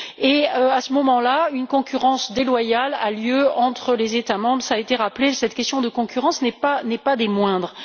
à partir de là, une concurrence déloyale a lieu entre les États membres cela a été rappelé, cette question de concurrence n'est pas des moindres.